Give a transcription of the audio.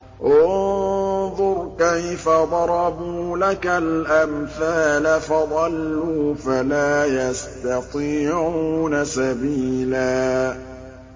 انظُرْ كَيْفَ ضَرَبُوا لَكَ الْأَمْثَالَ فَضَلُّوا فَلَا يَسْتَطِيعُونَ سَبِيلًا